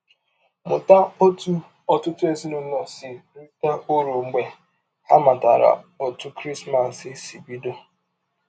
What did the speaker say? Mụta ọtụ ọtụtụ ezinụlọ si rite ụrụ mgbe ha matara ọtụ Krismas si bidọ.